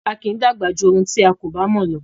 A kì í dàgbà jù ohun tí a kò bá mò lọ